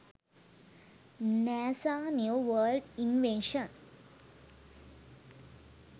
nasa new world invention